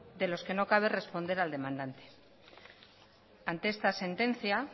de los que no cabe responder al demandante ante esta sentencia